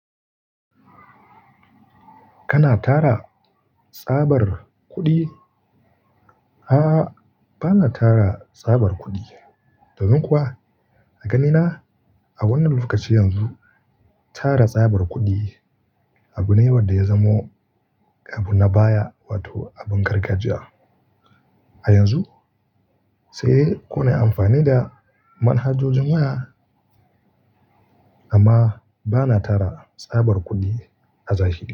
Kana tara tsabar kuɗi? A'a, ba na tara tsabar kuɗi. Domin kuwa a ganina a wannan lokaci yanzu tara tsabar kuɗi abu ne wanda ya zamo abu na baya, wato abin gargajiya. A yanzu sai kuna amfani da manhajojin waya amma ba na tara tsabar kuɗi a zashiri.